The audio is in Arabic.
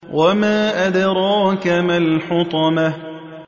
وَمَا أَدْرَاكَ مَا الْحُطَمَةُ